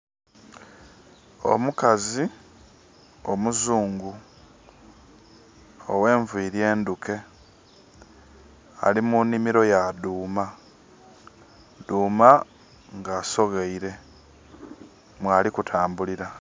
Omukazi omuzungu owe nviri endhuke. Ali munhimiro ya dhuma, dhuma asogheire mwali kutambulila.